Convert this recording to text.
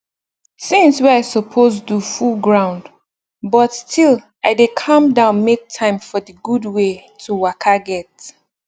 tinz wey i suppose do full ground but still i dey calm down make time for d gud wey to waka get